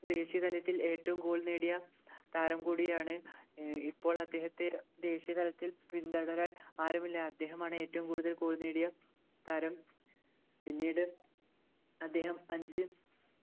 ദേശീയ തലത്തിൽ ഏറ്റവും goal നേടിയ താരം കൂടിയാണ് ഇപ്പോൾ അദ്ദേഹത്തെ ദേശീയ തലത്തിൽ പിന്തുടരാൻ ആരുമില്ല അദ്ദേഹമാണ് ഏറ്റവും കൂടുതൽ goal നേടിയ താരം പിന്നീട് അദ്ദേഹം അഞ്ച്